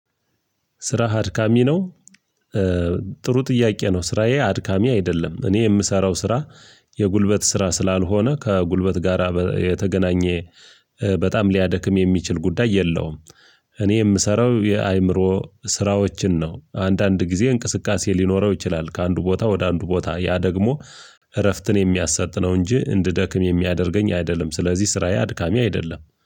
ስራህ አድካሚ ነው። ጥሩ ጥያቄ ነው ስራዬ አድካሚ አይደለም እኔ የምሰራው ስራ የጉልበት ስራ ስላልሆነ ከጉልበት ጋራ የተገናኘ በጣም ሊያደክም የሚችል ጉዳይ የለውም። እኔ የምሰራው የአእምሮ ስራዎችን ነው አንዳንድ ጊዜ እንቅስቃሴ ሊኖረው ይችላል ከአንዱ ቦታ ወደ አንዱ ቦታ ያ ደግሞ እረፍትን የሚያሰጥ ነው እንጂ እንድደክም የሚያደርገኝ አይደለም። ስለዚህ ስራዬ አድካሚ አይደለም